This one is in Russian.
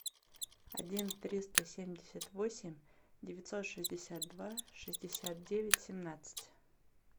один триста семьдесят восемь девятьсот шестьдесят два шестьдесят девять семнадцать